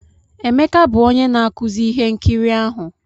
Emeka bụ onye na-akụzi ihe nkiri ahụ